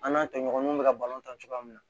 An n'a tɔɲɔgɔnw bɛ ka balon ta cogoya min na